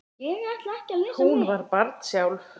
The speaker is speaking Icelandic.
Hún var barn sjálf.